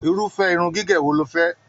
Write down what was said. Irufẹ irun gígé wò ló fẹ?